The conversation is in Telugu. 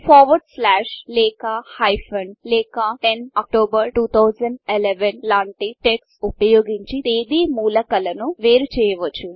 ఫోర్వోర్డ్ స్లాష్ లేక హైఫెన్ లేక 10 అక్టోబర్ 2011 లాంటి టెక్స్ట్ ఉపయోగించి తేదీ మూలకలను వేరు చేయవచ్చు